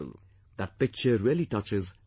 That picture really touches one's heart